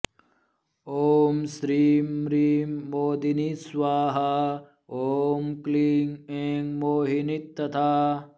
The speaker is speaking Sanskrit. ॐ श्रीं म्रीं मोदिनी स्वाहा ॐ क्लीं ऐं मोहिनी तथा